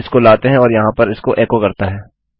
इसको लाते है और यहाँ पर इसको एको करता है